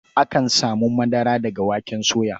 Akan samun madara daga waken soya.